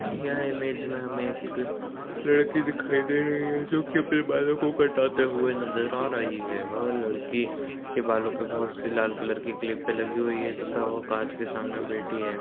यह इमेज में हमें एक लड़की दिखाई दे रही है जो कि अपने बालों को कटाते हुए नज़र आ रही है। वह लड़की के बालों पे बोहोत सी लाल रंग की क्लिपें लगी हुई हैं तथा वो काँच के सामने बैठी है।